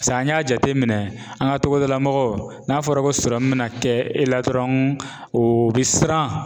Paseke an y'a jate minɛn an ka togodala mɔgɔw n'a fɔra ko sɔrɔmu bɛna kɛ e la dɔrɔn o bi siran.